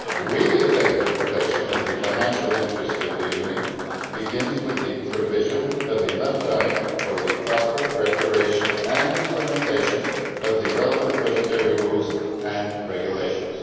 Really effective protection of the financial interest of the Union begins with the provision of enough time for the proper preparation and implementation of the relevant budgetary rules and regulations.